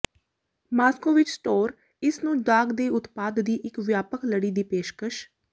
Moscow ਵਿੱਚ store ਇਸ ਨੂੰ ਦਾਗ ਦੇ ਉਤਪਾਦ ਦੀ ਇੱਕ ਵਿਆਪਕ ਲੜੀ ਦੀ ਪੇਸ਼ਕਸ਼